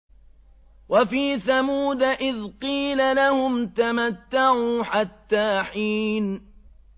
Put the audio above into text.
وَفِي ثَمُودَ إِذْ قِيلَ لَهُمْ تَمَتَّعُوا حَتَّىٰ حِينٍ